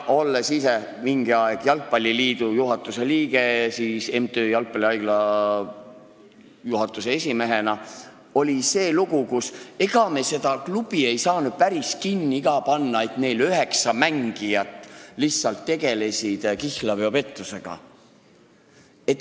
Olen ise olnud mingi aeg jalgpalliliidu juhatuse liige MTÜ Jalgpallihaigla juhatuse esimehena ja siis oli see lugu, et ega me seda klubi ei saanud päris kinni ka panna, kui neil üheksa mängijat tegelesid kihlveopettusega.